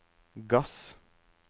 gass